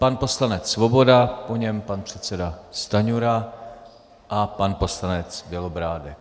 Pan poslanec Svoboda, po něm pan předseda Stanjura a pan poslanec Bělobrádek.